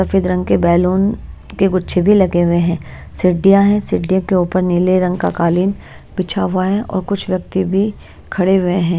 सफेद रंग के बैलून के गुच्छे भी लगे हुए हैं सिड्डियां है सिडियों के ऊपर नीले रंग का कालीन बिछा हुआ है और कुछ व्यक्ति भी खड़े हुए हैं।